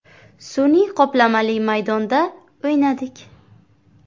Sun’iy qoplamali maydonda o‘ynadik.